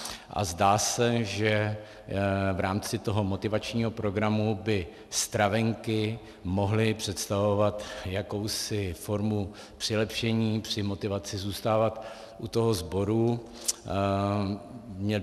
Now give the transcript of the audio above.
A zdá se, že v rámci toho motivačního programu by stravenky mohly představovat jakousi formu přilepšení při motivaci zůstávat u toho sboru.